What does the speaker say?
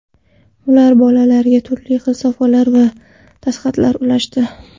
Ular bolalarga turli xil sovg‘alar va dastxatlar ulashdi.